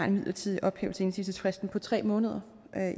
midlertidig ophævelse af indsigelsesfristen på tre måneder